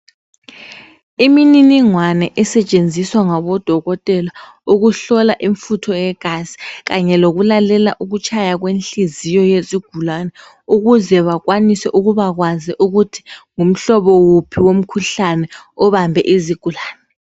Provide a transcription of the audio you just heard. Imininigwana esetshenziswa ngobodokotela ukuhlola imfutho yegazi kanye lokulalela ukutshaya kwenhliziyo yezigulane ukuze bakwanise ukubakwazi ukuba ngumhlobo wuphi womkhuhlene obambe izigulani